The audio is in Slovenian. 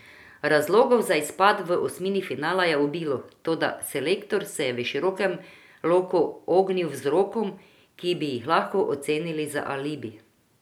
Razlogov za izpad v osmini finala je obilo, toda selektor se je v širokem loku ognil vzrokom, ki bi jih lahko ocenili za alibi.